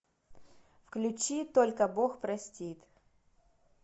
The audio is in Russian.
включи только бог простит